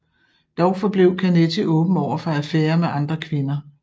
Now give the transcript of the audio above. Dog forblev Canetti åben overfor affærer med andre kvinder